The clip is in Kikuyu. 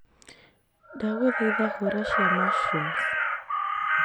ndaguthaitha hura cia mushrooms